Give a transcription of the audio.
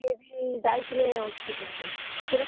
ସିଏ ବି ଯାଇଥିଲେ hospital ବୁଝୁଛନା।